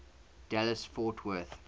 dallas fort worth